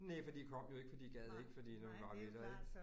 Næ for de kom jo ikke for de gad ikke fordi det var meget lettere ik